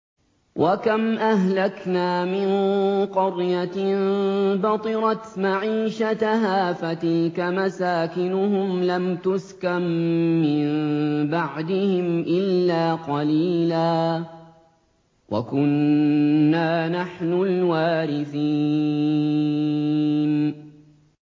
وَكَمْ أَهْلَكْنَا مِن قَرْيَةٍ بَطِرَتْ مَعِيشَتَهَا ۖ فَتِلْكَ مَسَاكِنُهُمْ لَمْ تُسْكَن مِّن بَعْدِهِمْ إِلَّا قَلِيلًا ۖ وَكُنَّا نَحْنُ الْوَارِثِينَ